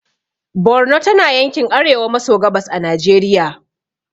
Borno tana yankin arewa maso gabas a najeriya